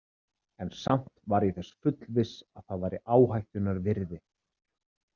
En samt var ég þess fullviss að það væri áhættunnar virði.